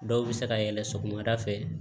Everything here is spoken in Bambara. Dɔw bɛ se ka yɛlɛ sɔgɔmada fɛ